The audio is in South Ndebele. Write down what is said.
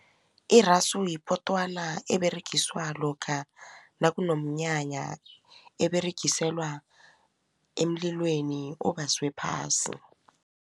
Irasu yipotwana eberegiswa lokha nakunomnyanya eberegiselwa emlilweni obaswe phasi.